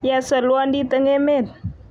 ya solwondit eng emet